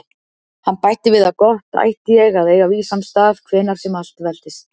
Hann bætti við að gott ætti ég að eiga vísan stað hvenær sem allt veltist.